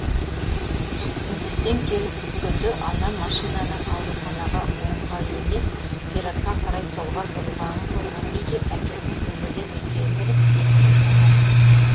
нүкістен келіп түскенде анам машинаның ауруханаға оңға емес зиратқа қарай солға бұрылғанын көрген кезде әкемнің өмірден өткенін біліп есінен танады